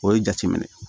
O ye jateminɛ